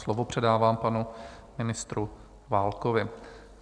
Slovo předávám panu ministru Válkovi.